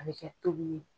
A bɛ kɛ tobili ye